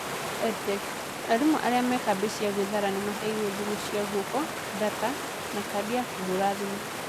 EdTech: Arimũ arĩa me kambĩ cia gwĩthara nĩ maheirwo thimũ cia gwoko, data, na kadi ya kũhũra thimũ.